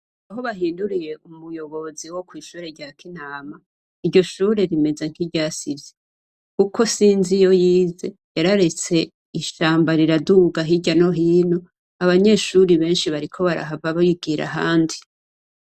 Aho bahinduriye umuyobozi wokwishure rya kinama ,iryo shure rimeze nkiryasivye kuko Sinzi iyo yize yararetse ishamba rirakura hirya no hino abanyeshure benshi bariko barahava bigira ahandi.